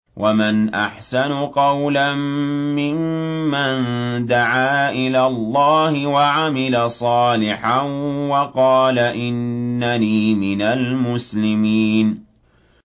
وَمَنْ أَحْسَنُ قَوْلًا مِّمَّن دَعَا إِلَى اللَّهِ وَعَمِلَ صَالِحًا وَقَالَ إِنَّنِي مِنَ الْمُسْلِمِينَ